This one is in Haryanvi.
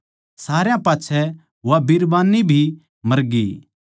सारया पाच्छै वा बिरबान्नी भी मरगी